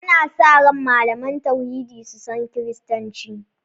Ana sa ran malaman tauhidi su san Kiristanci.